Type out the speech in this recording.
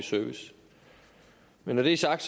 service men når det er sagt